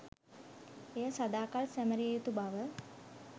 එය සදා කල් සැමරිය යුතු බව